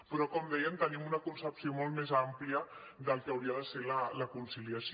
però com dèiem tenim una concepció molt més àmplia del que hauria de ser la conciliació